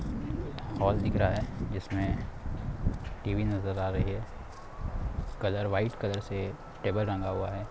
Hall दिख रहा हैं इसमे टी.वी नजर आ रही है कलर व्हाइट कलर से टेबल रंगा हुवा है।